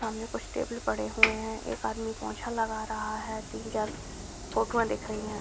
सामने कुछ टेबल पड़े हुए हैं | एक आदमी पोछा लगा रहा है | तीन चार फोटोएं दिख रहीं हैं |